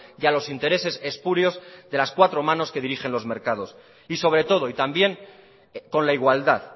y a los intereses espurios de las cuatro manos que dirigen los mercados y sobre todo y también con la igualdad